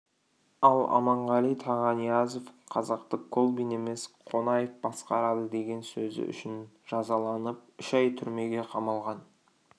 ал аманғали тағаниязов қазақты колбин емес қонаев басқарады деген сөзі үшін жазаланып үш ай түрмеге қамалған